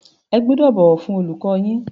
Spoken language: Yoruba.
Ẹ gbọ́dọ̀ bọ̀wọ̀ fún olùkọ́ yín.